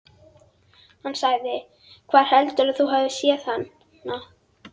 Hann sagði: Hvar heldurðu að þú hafir séð hana?